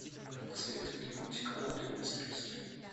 посоветуй мне мультик анатомия страсти